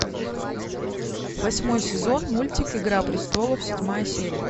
восьмой сезон мультик игра престолов седьмая серия